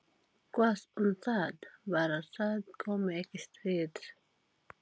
Hvað um það- bara það komi ekki stríð.